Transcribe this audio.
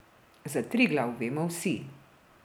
Za Triglav vemo vsi.